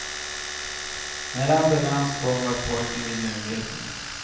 När ambulans kom var pojken vid medvetande.